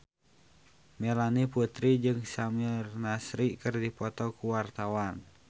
Melanie Putri jeung Samir Nasri keur dipoto ku wartawan